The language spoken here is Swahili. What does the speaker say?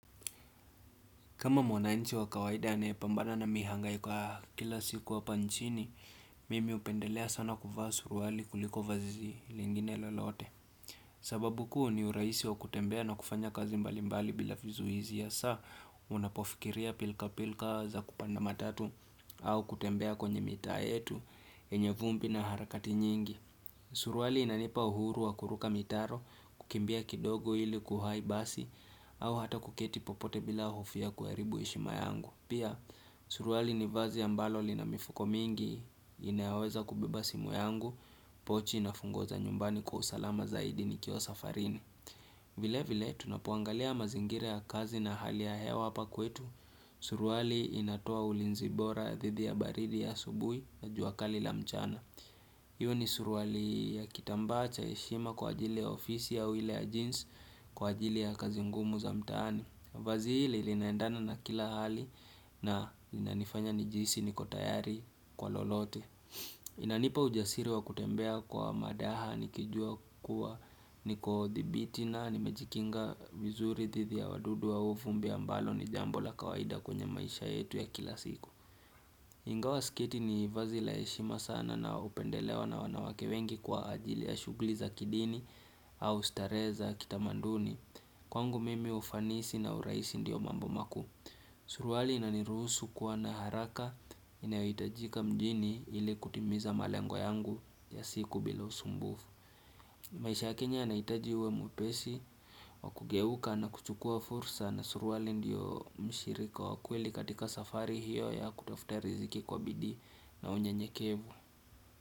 Kama mwananchi wa kawaida anaye pambana na mihangaiko ya kila siku hapa nchini, mimi hupendelea sana kuvaa suruali kuliko vazi lingine lolote. Sababu kuu ni urahisi wa kutembea na kufanya kazi mbali mbali bila vizuizi hasa unapofikiria pilka pilka za kupanda matatu au kutembea kwenye mitaa yetu yenye vumbi na harakati nyingi. Suruali inanipa uhuru wa kuruka mitaro kukimbia kidogo ili kuwahi basi au hata kuketi popote bila hofu ya kuharibu heshima yangu Pia suruali ni vazi ambalo lina mifuko mingi inayoweza kubeba simu yangu pochi na funguo za nyumbani kwa usalama zaidi nikiwa safarini vile vile tunapoangalia mazingira ya kazi na hali ya hewa hapa kwetu suruali inatoa ulinzi bora ya dhidi ya baridi ya asubuhi ya juakali la mchana Iwe ni suruali ya kitambaa cha heshima kwa ajili ya ofisi au ile ya jeans kwa ajili ya kazi ngumu za mtaani vazi hili linaendana na kila hali na linanifanya nijihisi niko tayari kwa lolote Inanipa ujasiri wa kutembea kwa madaha nikijua kuwa niko dhabiti na nimejikinga vizuri dhidi ya wadudu au vumbi ambalo ni jambo la kawaida kwenye maisha yetu ya kila siku Ingawa sketi ni vazi la heshima sana linaopendelewa na wanawake wengi kwa ajili ya shughuli za kidini au starehe za kitamanduni. Kwangu mimi ufanisi na urahisi ndiyo mambo makuu. Suruali inaniruhusu kuwa na haraka inayohitajika mjini ili kutimiza malengo yangu ya siku bila usumbufu. Maisha ya Kenya yanahitaji uwe mwipesi, wakugeuka na kuchukua fursa na suruali ndiyo mshirika wa kweli katika safari hiyo ya kutafuta riziki kwa bidii na unyenyekevu.